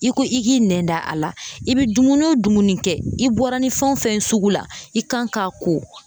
I ko i k'i nɛn da a la , i bɛ dumuni o dumuni kɛ, i bɔra ni fɛn o fɛn ye sugu la, i kan k'a ko.